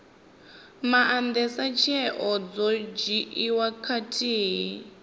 maandesa tsheo dzo dzhiiwaho khathihi